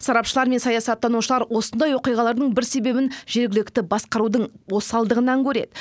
сарапшылар мен саясаттанушылар осындай оқиғалардың бір себебін жергілікті басқарудың осалдығынан көреді